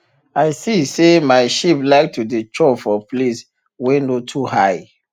i see say my sheep like to dey chop for place wey no too high